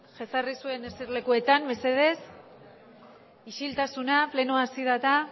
jesarri zuen eser lekuetan mesedez isiltasuna pleno asieraeta